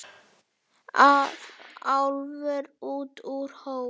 Álfur út úr hól.